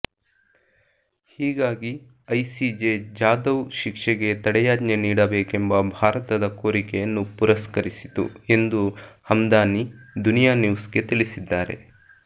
ಹೀಗಾಗಿ ಐಸಿಜೆ ಜಾಧವ್ ಶಿಕ್ಷೆಗೆ ತಡೆಯಾಜ್ಞೆ ನೀಡಬೇಕೆಂಬ ಭಾರತದ ಕೋರಿಕೆಯನ್ನು ಪುರಸ್ಕರಿಸಿತು ಎಂದು ಹಮ್ದಾನಿ ದುನಿಯಾ ನ್ಯೂಸ್ಗೆ ತಿಳಿಸಿದ್ದಾರೆ